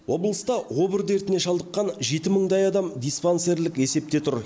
облыста обыр дертіне шалдыққан жеті мыңдай адам диспансерлік есепте тұр